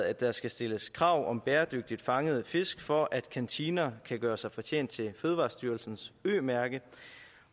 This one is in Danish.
at der skal stilles krav om bæredygtigt fangede fisk for at kantiner kan gøre sig fortjent til fødevarestyrelsens ø mærke